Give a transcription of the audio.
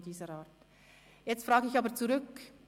Jetzt frage ich aber zurück: